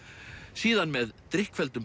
síðan með